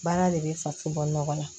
Baara de bɛ faso bɔ nɔgɔ la